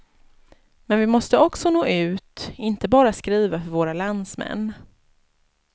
Men vi måste också nå ut, inte bara skriva för våra landsmän.